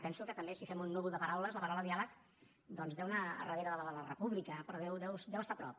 penso que també si fem un núvol de paraules la paraula diàleg doncs deu anar a darrere de la de la república però deu estar a prop